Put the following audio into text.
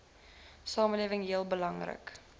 samelewing heel belangrik